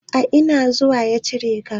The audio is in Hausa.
A ina zuman ya cijeka?